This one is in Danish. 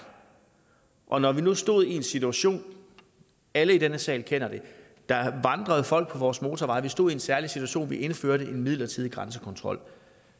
og når vi nu stod i en situation alle i den her sal kender det der vandrede folk på vores motorveje vi stod i en særlig situation vi indførte en midlertidig grænsekontrol